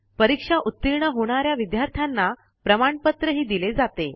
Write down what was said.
परीक्षा उतीर्ण होणा या विद्यार्थ्यांना प्रमाणपत्रही दिले जाते